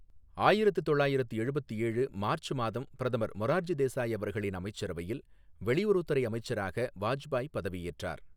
ஆயிரத்து தொள்ளாயிரத்து எழுபத்து ஏழு மார்ச் மாதம் பிரதமர் மொரார்ஜி தேசாய் அவர்களின் அமைச்சரவையில் வெளியுறவுத் துறை அமைச்சராக வாஜ்பாய் பதவியேற்றார்.